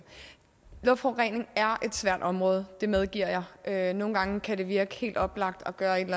luftforurening er et svært område det medgiver jeg og nogle gange kan det virke helt oplagt at gøre et